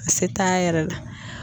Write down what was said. A se t'a yɛrɛ la.